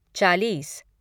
चालीस